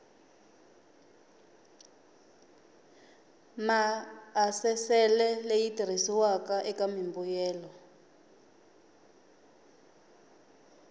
maasesele leyi tirhisiwaka eka mimbuyelo